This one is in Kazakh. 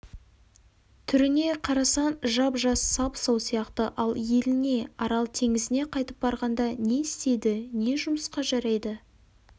түріне қарасаң жап-жас сап-сау сияқты ал еліне арал теңізіне қайтып барғанда не істейді не жұмысқа жарайды